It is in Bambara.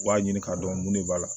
U b'a ɲini k'a dɔn mun de b'a la